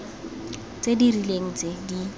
tse di rileng tse di